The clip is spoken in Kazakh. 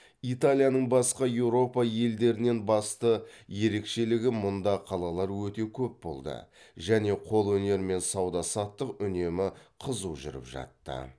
италияның басқа еуропа елдерінен басты ерекшелігі мұнда қалалар өте көп болды және қолөнер мен сауда саттық үнемі қызу жүріп жатты